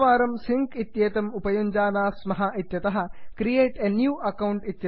वयं प्रथमवारं सिङ्क् इत्येतम् उपयुञ्जानाः स्मः इत्यतः क्रिएट a न्यू अकाउंट इत्यत्र नुदन्तु